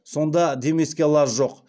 сонда демеске лаж жоқ